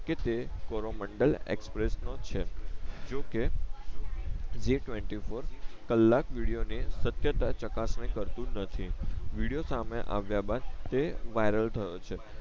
કે જે Coromandel Express નો છે જો કે Zee twenty four Kalak video ને સત્યતતા ચકાસણી કરતુ નથી વિડિયો સામે આવીઆ બાદ તે વાઇરલ થયો છે